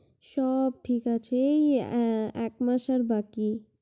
সব ঠিক আছে, এই এ~ একমাস আর বাকি।